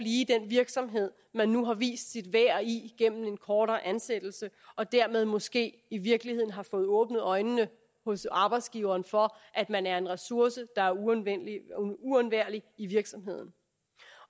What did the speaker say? i den virksomhed man nu har vist sit værd i gennem en kortere ansættelse og dermed måske i virkeligheden har fået åbnet øjnene hos arbejdsgiveren for at man er en ressource der er uundværlig i virksomheden